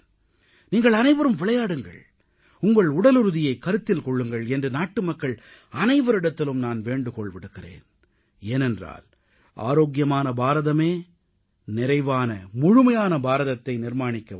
நீங்கள் அனைவரும் விளையாடுங்கள் உங்கள் உடலுறுதியை கருத்தில் கொள்ளுங்கள் என்று நாட்டு மக்கள் அனைவரிடத்திலும் நான் வேண்டுகோள் விடுக்கிறேன் ஏனென்றால் ஆரோக்கியமான பாரதமே நிறைவான முழுமையான பாரதத்தை நிர்மாணிக்க உதவும்